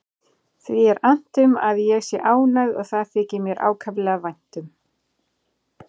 Því er annt um að ég sé ánægð og það þykir mér ákaflega vænt um.